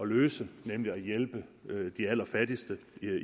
løse nemlig at hjælpe de allerfattigste